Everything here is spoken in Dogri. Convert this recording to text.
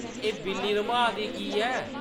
“एह्‌‌ बिल्ली रम्हाऽ दी की ऐ ?”